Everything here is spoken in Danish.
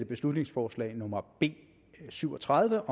beslutningsforslag nummer b syv og tredive